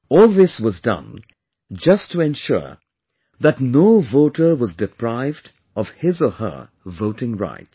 All this was done, just to ensure that no voter was deprived of his or her voting rights